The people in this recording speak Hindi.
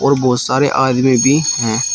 और बहुत सारे आदमी भी हैं।